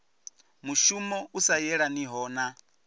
mushumo u sa yelaniho na